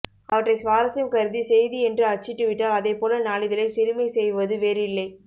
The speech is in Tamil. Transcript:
அவற்றை சுவாரசியம் கருதி செய்தி என்று அச்சிட்டுவிட்டால் அதைப்போல நாளிதழைச் சிறுமைசெய்வது வேறில்லை